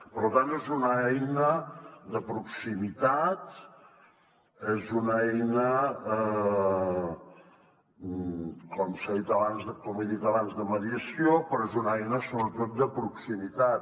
per tant és una eina de proximitat és una eina com he dit abans de mediació però és una eina sobretot de proximitat